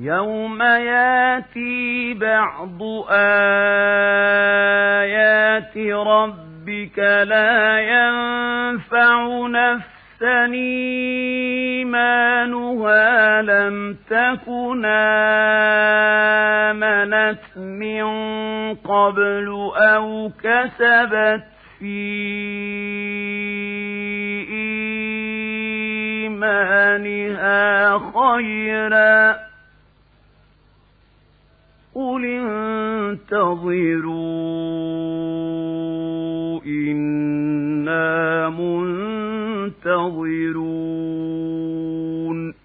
يَوْمَ يَأْتِي بَعْضُ آيَاتِ رَبِّكَ لَا يَنفَعُ نَفْسًا إِيمَانُهَا لَمْ تَكُنْ آمَنَتْ مِن قَبْلُ أَوْ كَسَبَتْ فِي إِيمَانِهَا خَيْرًا ۗ قُلِ انتَظِرُوا إِنَّا مُنتَظِرُونَ